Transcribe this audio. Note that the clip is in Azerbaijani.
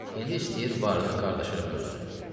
İndi istəyir varını qardaşı ilə bölsün.